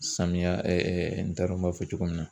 Samiya n t'a dɔn n b'a fɔ cogo min na.